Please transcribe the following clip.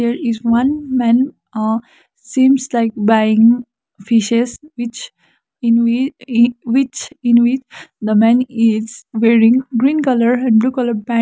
here is one man ah seems like buying fishes which in whi e which in which the man is wearing green colour and blue colour pant.